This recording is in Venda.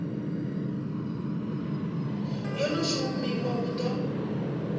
yo no shumiwa hu ḓo